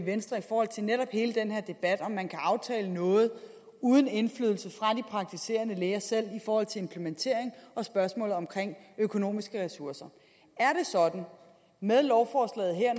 venstre i forhold til netop hele den her debat om om man kan aftale noget uden indflydelse fra de praktiserende læger selv i forhold til implementering og spørgsmålet om økonomiske ressourcer er det sådan med lovforslaget her